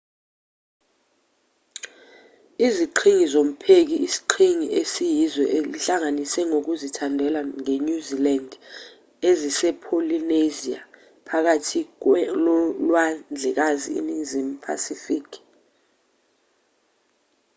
iziqhingi zompheki isiqhingi esiyizwe elizihlanganise ngokuzithandela nenyuzilandi ezisepholinesiya phakathi nolwandlekazi iningizimu phasifiki